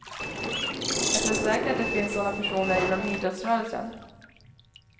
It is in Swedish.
Jag tror säkert att det finns sådana personer inom idrottsrörelsen.